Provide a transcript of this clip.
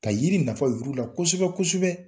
Ka yiri nafa yir'u la kosɛbɛ kosɛbɛ